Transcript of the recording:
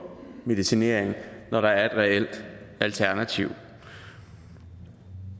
medicinering når der er et reelt alternativ